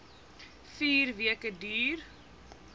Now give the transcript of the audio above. vier weke duur